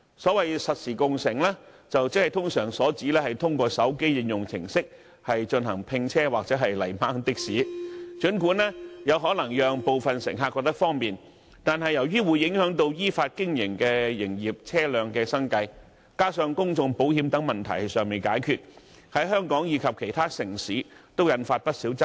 所謂實時共乘，通常是指透過手機應用程式進行併車或"泥鯭的士"，儘管可能有部分乘客認為很方便，但由於會影響到依法經營的營業車輛的生計，再加上公眾責任保險等問題尚未解決，在香港及其他地區均引發不少爭議。